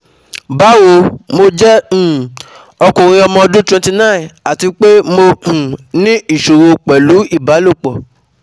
Báwo, mo jẹ́ um ọkùnrin ọmọ ọdún twenty nine àti pé mo um ní ìṣòro pẹ̀lú ìbálòpọ̀